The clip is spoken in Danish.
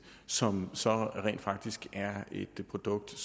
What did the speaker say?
som så rent faktisk er et produkt